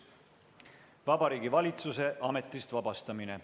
Vabariigi Valitsuse ametist vabastamine.